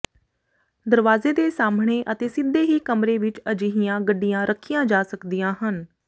ਦਰਵਾਜ਼ੇ ਦੇ ਸਾਮ੍ਹਣੇ ਅਤੇ ਸਿੱਧੇ ਹੀ ਕਮਰੇ ਵਿਚ ਅਜਿਹੀਆਂ ਗੱਡੀਆਂ ਰੱਖੀਆਂ ਜਾ ਸਕਦੀਆਂ ਹਨ